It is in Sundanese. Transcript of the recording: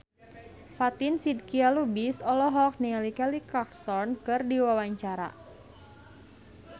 Fatin Shidqia Lubis olohok ningali Kelly Clarkson keur diwawancara